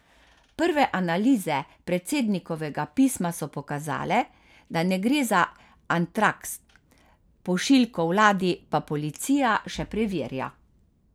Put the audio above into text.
Prve analize predsednikovega pisma so pokazale, da ne gre za antraks, pošiljko vladi pa policija še preverja.